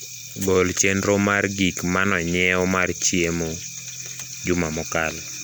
gol chenro mar gik mano nyiew mar chiemo juma mokalo